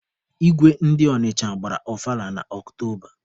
Igwe ndi Ọnịcha gbara ọfala na Ọktoba.